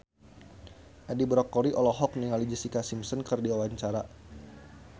Edi Brokoli olohok ningali Jessica Simpson keur diwawancara